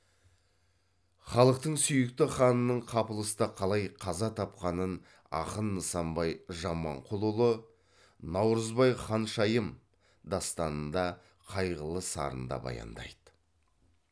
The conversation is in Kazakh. халықтың сүйікті ханының қапылыста қалай қаза тапқанын ақын нысанбай жаманқұлұлы наурызбай ханшайым дастанында қайғылы сарында баяндайды